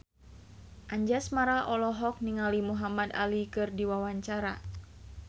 Anjasmara olohok ningali Muhamad Ali keur diwawancara